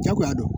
Jagoya dɔn